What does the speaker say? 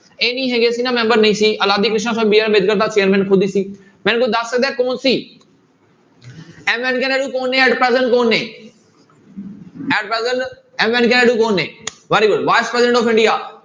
ਇਹ ਨੀ ਹੈਗੇ ਮੈਂਬਰ ਨਹੀਂ ਸੀ ਅਲਾਦੀ ਕ੍ਰਿਸ਼ਨਾ BR ਅੰਬੇਦਕਰ ਤਾਂ chairman ਖੁਦ ਹੀ ਸੀ ਮੈਨੂੰ ਕੋਈ ਦੱਸ ਸਕਦਾ ਹੈ ਕੌਣ ਸੀ m ਵੈਂਕੇਹ ਨਾਇਡੂ ਕੌਣ ਨੇ ਕੌਣ ਨੇ m ਵੈਂਕੇਹ ਨਾਇਡੂ ਕੌਣ ਨੇ very good, vice president of India